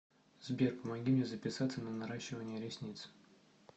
сбер помоги мне записаться на наращивание ресниц